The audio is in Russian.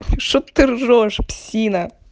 что ты ржёшь псина